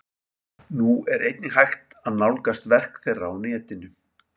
Nú er einnig hægt að nálgast verk þeirra á netinu.